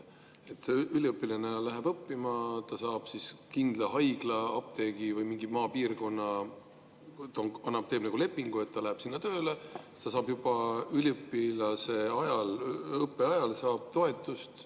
Üliõpilane läheb õppima, ta teeb kindla haigla, apteegi või mingi maapiirkonnaga nagu lepingu, et ta läheb sinna tööle, ja saab juba õppeajal toetust.